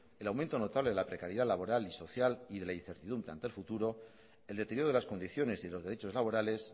el aumento notable de la precariedad laboral y social y de la incertidumbre ante el futuro el deterioro de las condiciones y de los derechos laborales